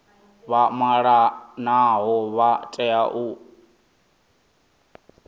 vha malanaho vha tea u